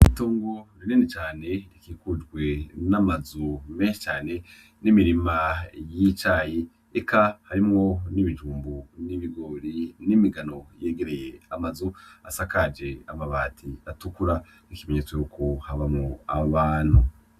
Itongo rinini cane rikikujwe n'amazu menshi cane n'imirima y'icayi eka harimwo n'ibijumbu n'ibigori n'imigano yegereye amazu asakaje amabati atukura nk'ikimenyetso yuko habamwo abantu.